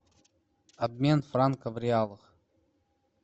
обмен франков в реалах